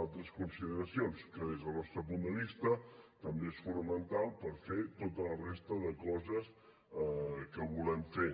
altres consideracions que des del nostre punt de vista també és fonamental per fer tota la resta de coses que volem fer